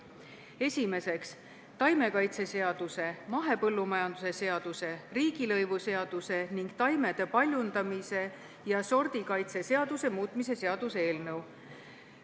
Esiteks, taimekaitseseaduse, mahepõllumajanduse seaduse, riigilõivuseaduse ning taimede paljundamise ja sordikaitse seaduse muutmise seaduse eelnõu.